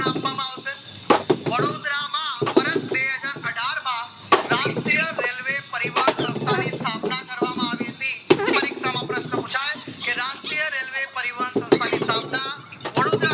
આપવામાં આવશે વડોદરામાં વર્ષ બેહજાર અઢારમાં રાષ્ટ્રીય railway પરિવાન સંસ્થા ની સ્થાપના કરવામાં આવી હતી પરીક્ષામાં પ્રશ્ન પુછાય કે રાષ્ટ્રીય railway પરિવાન સંસ્થા ની સ્થાપનાવડોદરા